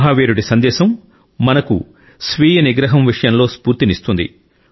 మహావీరుడి సందేశం మనకు స్వీయ నిగ్రహం విషయంలో స్ఫూర్తినిస్తుంది